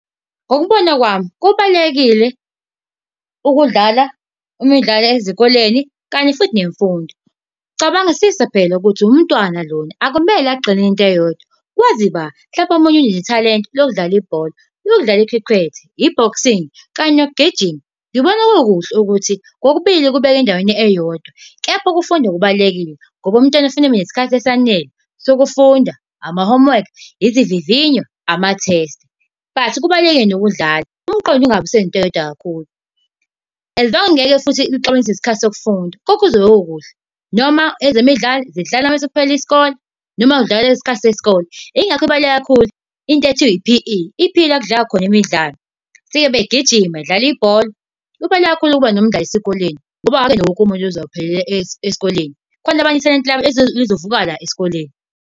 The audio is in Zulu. Ngokubona kwami, kubalulekile ukudlala imidlalo ezikoleni kanye futhi nemfundo. Cabangisisa phela ukuthi umntwana lona, akumele agxilele into eyodwa. Kwazi ba? Mhlampe omunye unethalente lokudlala ibhola, lokudlala i-cricket, i-boxing kanye nokugijima. Ngibona kukuhle ukuthi kokubili kubeka endaweni eyodwa, kepha ukufunda kubalulekile ngoba umntwana kufanele abe nesikhathi esanele sokufunda, ama-homework, izivivinyo ama-test. But kubalulekile nokudlala, umqondo ungabe usenza into eyodwa kakhulu. As long ngeke futhi ixabanise nesikhathi sokufunda, konke kuzobe kukuhle noma ezemidlalo zidlala mase kuphele isikole, noma kudlala ngesikhathi sesikole. Yingakho kubaluleke kakhulu into ekuthiwa i-P_E, i-P_E yila ekudlalwa khona imidlalo, befike begijime bedlala ibhola. Kubaluleke kakhulu ukuba nemidlalo esikoleni, ngoba akuyena wonke umuntu ozophelela esikoleni. Kukhona abanye bantu ithalente labo elizovuka la esikoleni.